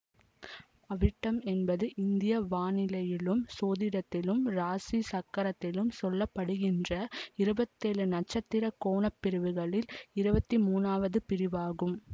அவிட்டம் என்பது இந்திய வானிலியலும் சோதிடத்திலும் இராசி சக்கரத்தில் சொல்ல படுகின்ற இருபத்தேழு நட்சத்திர கோண பிரிவுகளுள் இருவத்தி மூனாவது பிரிவு ஆகும்